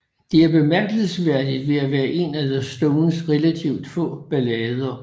Den er bemærkelsesværdig ved at være en af The Stones relativt få ballader